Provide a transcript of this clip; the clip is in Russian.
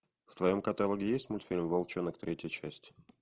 в твоем каталоге есть мультфильм волчонок третья часть